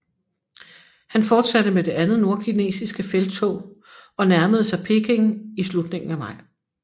Han fortsatte med det andet nordkinesiske felttog og nærmede sig Peking i slutningen af maj